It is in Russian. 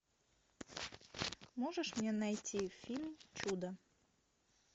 можешь мне найти фильм чудо